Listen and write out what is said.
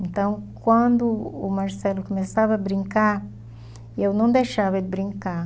Então, quando o Marcelo começava a brincar, eu não deixava ele brincar.